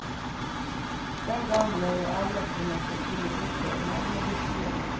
Den gang ble jeg advart om at det kunne virke navlebeskuende.